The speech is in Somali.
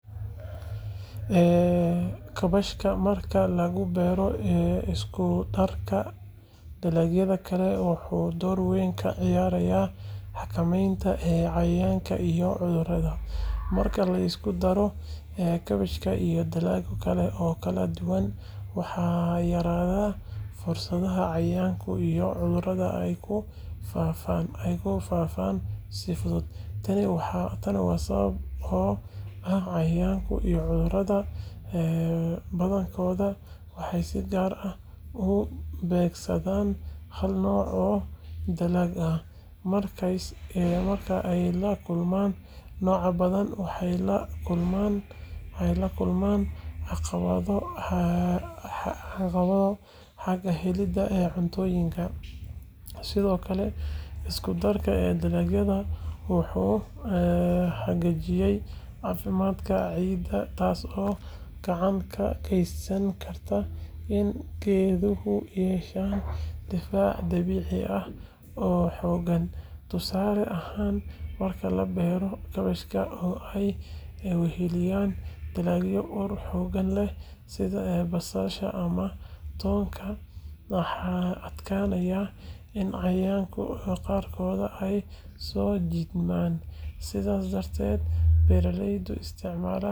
Kaabashka marka lagu beero isku-darka dalagyada kale, wuxuu door weyn ka ciyaaraa xakamaynta cayayaanka iyo cudurrada. Marka la isku daro kaabashka iyo dalagyo kale oo kala duwan, waxaa yaraada fursadda cayayaanka iyo cudurrada ay ku faaftaan si fudud. Tani waa sababta oo ah cayayaanka iyo cudurrada badankooda waxay si gaar ah u beegsadaan hal nooc oo dalag ah, markayse la kulmaan noocyo badan, waxay la kulmaan caqabado xagga helidda cuntadooda. Sidoo kale, isku-darka dalagyadu wuxuu hagaajiyaa caafimaadka ciidda, taasoo gacan ka geysan karta in geeduhu yeeshaan difaac dabiici ah oo xooggan. Tusaale ahaan, marka la beero kaabashka oo ay weheliyaan dalagyo ur xooggan leh sida basasha ama toonka, waxaa adkaanaysa in cayayaanka qaarkood ay soo jiitmaan. Sidaas darteed, beeraleyda isticmaala habkan dabiiciga ah waxay yareeyaan baahida ay u qabaan sunta cayayaanka waxayna helaan dalag caafimaad qaba oo waara. Waana tallaabo muhiim u ah beero nadiif ah iyo cunto ammaan ah.